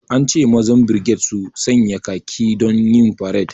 An ce mazan birged su sanya khaki don yin faret